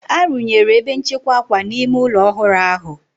Arụnyere ebe nchekwa akwa n'ime ụlọ ọhụrụ ahụ.